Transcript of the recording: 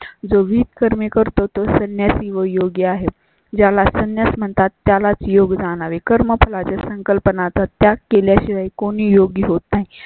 जो गीत कर मी करतो तो संन्यासी व योगी आहेत. ज्याला संन्यास म्हणतात त्या लाच योग जाणारी कर्मफलाच्या संकल्पना चा त्याग केल्या शिवाय कोणी योग्य होता.